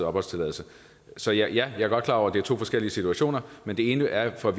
opholdstilladelse så ja jeg er godt klar over at det er to forskellige situationer men det ene er for